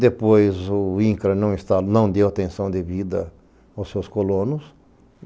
Depois o INCRA não deu atenção devido aos seus colonos.